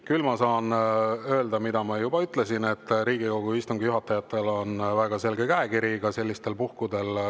Küll ma saan öelda, mida ma juba ütlesin, et Riigikogu istungi juhatajatel on väga selge käekiri ka sellistel puhkudel.